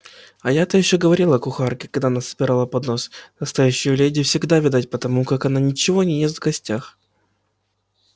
а я-то ещё говорила кухарке когда она собирала поднос настоящую леди всегда видать по тому как она ничего не ест в гостях